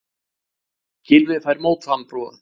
Gylfi fær mótframboð